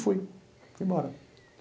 Fui embora.